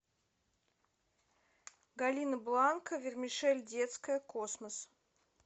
галина бланка вермишель детская космос